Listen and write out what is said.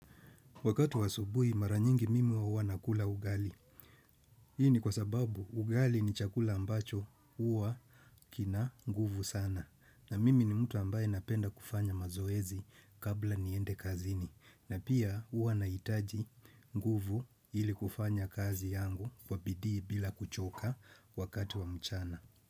Wakati wa asubuhi mara nyingi mimi huwa nakula ugali. Hii ni kwa sababu ugali ni chakula ambacho huwa kina nguvu sana. Na mimi ni mtu ambaye napenda kufanya mazoezi kabla niende kazini. Na pia huwa nahitaji nguvu ili kufanya kazi yangu kwa bidii bila kuchoka wakati wa mchana.